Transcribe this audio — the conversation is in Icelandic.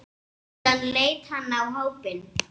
Síðan leit hann á hópinn.